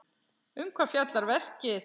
Um hvað fjallar verkið?